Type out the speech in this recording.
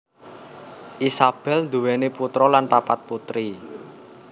Isabel nduwèni putra dan papat putri